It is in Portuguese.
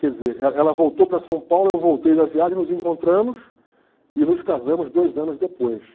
Quer dizer, e ela voltou para São Paulo, eu voltei da viagem, nos encontramos e nos casamos dois anos depois.